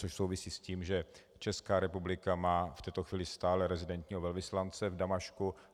To souvisí s tím, že Česká republika má v této chvíli stále rezidenčního velvyslance v Damašku.